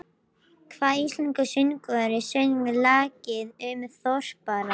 Hvaða íslenski söngvari söng lagið um Þorparann?